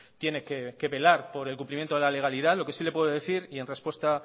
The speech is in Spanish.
tiene que velar por el cumplimiento de la legalidad lo que sí le puedo decir y en respuesta